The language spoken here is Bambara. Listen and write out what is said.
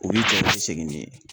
U b'i cɛ u bi segin n'i ye.